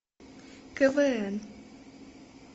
квн